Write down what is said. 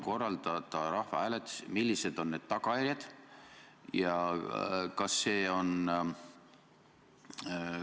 Korraldada rahvahääletus – millised on tagajärjed?